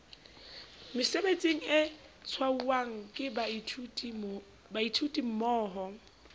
mesebetsing e tshwauwang ke baithutimmoho